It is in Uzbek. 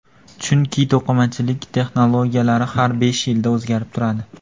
Chunki to‘qimachilik texnologiyalari har besh yilda o‘zgarib turadi.